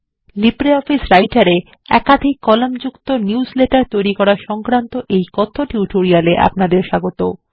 LibreOffice Writer এ -একাধিক column যুক্ত নিউজলেটার তৈরী সংক্রান্ত কথ্য টিউটোরিয়াল এ আপনাদের স্বাগত